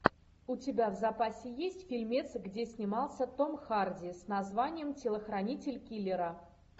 у тебя в запасе есть фильмец где снимался том харди с названием телохранитель киллера